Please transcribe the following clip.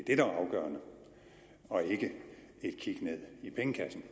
og ikke et kig ned i pengekassen